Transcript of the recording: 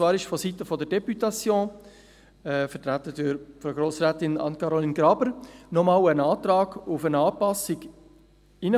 Vonseiten der Députation, vertreten durch Frau Grossrätin Anne-Caroline Graber, traf nochmals ein Antrag auf eine Anpassung ein.